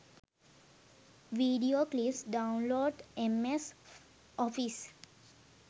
video clips download ms office